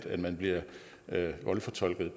at man bliver voldfortolket